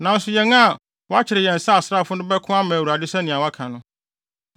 Nanso yɛn a wɔakyere yɛn sɛ asraafo no bɛko ama Awurade sɛnea woaka no.”